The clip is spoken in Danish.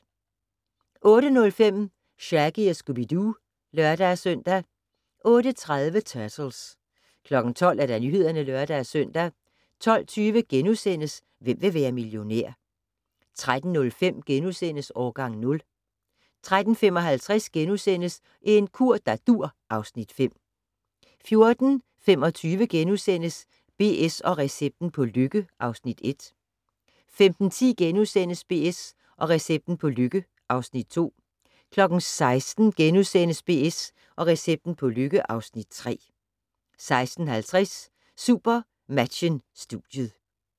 08:05: Shaggy & Scooby-Doo (lør-søn) 08:30: Turtles 12:00: Nyhederne (lør-søn) 12:20: Hvem vil være millionær? * 13:05: Årgang 0 * 13:55: En kur der dur (Afs. 5)* 14:25: BS & recepten på lykke (Afs. 1)* 15:10: BS & recepten på lykke (Afs. 2)* 16:00: BS & recepten på lykke (Afs. 3)* 16:50: SuperMatchen: Studiet